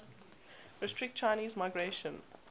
restrict chinese migration